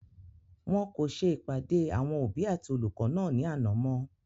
wọn kò ṣe ìpàdé àwọn òbí àti olùkọ́ náà ní àná mọ́